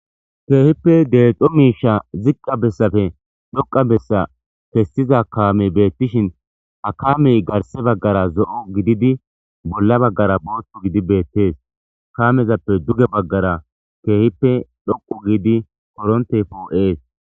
Keehippe deexo miisha ziqqa bessafe dhoqa bessa kessiza kaamey beettishin akamey garse baggara zo'o gididi bolla baggara booththu gidi beettees kaamezappe duge baggara keehippe dhoqu giidi korontey poo'ees.